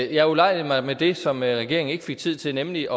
jeg ulejligede mig med det som regeringen ikke fik tid til nemlig